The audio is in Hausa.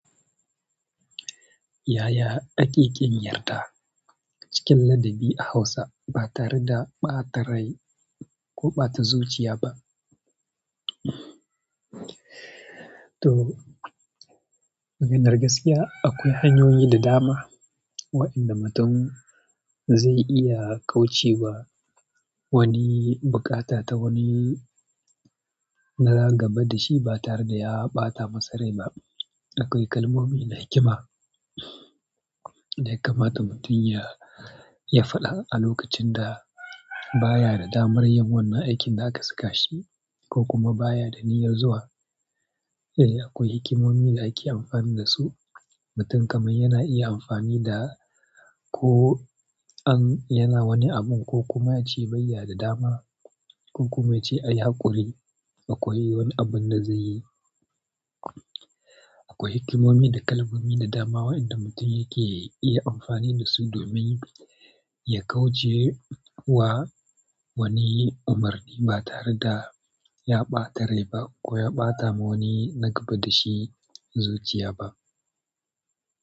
Ya ya ake kin yarda cikin ladabi a Hausa ba tare da ɓata rai ko ɓata zuciya ba? To, maganar gaskiya akwai hanyoyi da dama waɗanda mutum zai iya kauce wa wani bukata ta wani na gaba da shi ba tare da ya ɓata masa rai ba. Akwai kalmomi na hikima da ya kamata mutum ya faɗa a lokacin da baya da damar yin wannan aikin da aka saka shi ko kuma ba ya da niyyar zuwa. Eh, akwai hikimomi da ake amfani da su. Mutum kamar yana iya amfani da ko an, yana wani abun ko kuma ya ce bai ya da dama ko kuma ya ce a yi haƙuri akwai wani abin da zai yi. Akwai hikimomi da kalmomi da dama waɗanda mutum ya ke iya amfani da su domin ya kauce wa wani umarni ba tare da ya ɓata rai ba ko ya ɓata ma wani na gaba da shi zuciya ba.